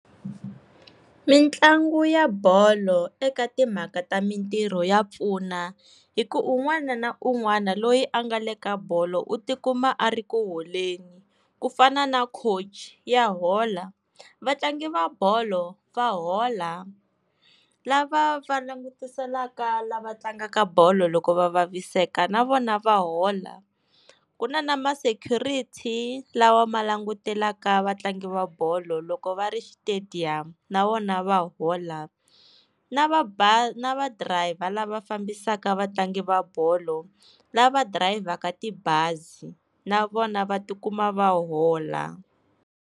Mitlangu ya bolo eka timhaka ta mintirho ya pfuna hi ku un'wana na un'wana loyi a nga le ka bolo u tikuma a ri ku holeni, kufana na coach ya hola, vatlangi va bolo va hola, lava va langutiselaka lava tlangaka bolo loko va vaviseka na vona va hola, ku na na ma security lawa ma langutelaka vatlangi va bolo loko va xitediyamu na vona va hola, na va , na va driver lava fambisaka vatlangi va bolo lava dirayivhaka tibazi na vona va tikuma va hola.